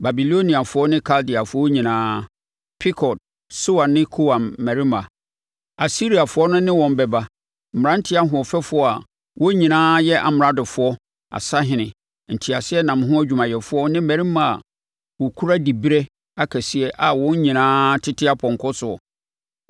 Babiloniafoɔ ne Kaldeafoɔ nyinaa, Pekod, Soa ne Koa mmarima, Asiriafoɔ no ne wɔn bɛba, mmeranteɛ ahoɔfɛfoɔ a wɔn nyinaa yɛ amradofoɔ, asahene, nteaseɛnam ho adwumayɛfoɔ ne mmarima a wɔkura diberɛ akɛseɛ a wɔn nyinaa tete apɔnkɔ soɔ.